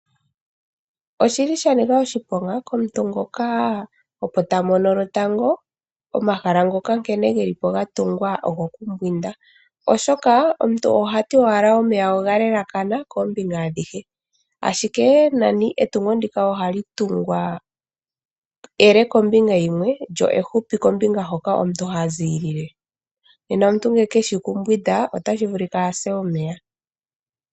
Oshili sha nika oshiponga komuntu ngoka opo ta mono omahala lwotango ngoka nkene geli po ogoku mbwinda. Omuntu ngoka ohati owala omeya oga elekana kombinga adhihe. Ashike etungo ndika ohali tungwa ele kombinga yimwe, lyo efupi kombinga hoka omuntu ha ziilile. Nena omuntu ngele keshi oku mbwinda otashi vulika a se omeya.